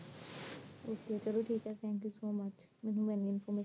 okay ਚਲੋ ਠੀਕ ਏ thank you so much ਮੈਨੂੰ ਹਨੀ ਤੁਸੀਂ